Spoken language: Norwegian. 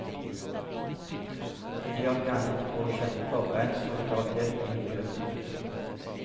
De har ikke annet å kjempe for enn solidaritet inn i døden.